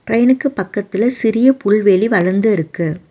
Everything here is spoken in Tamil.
ட்ரெயினுக்கு பக்கத்துல சிறிய புள்வெளி வளந்துருக்கு.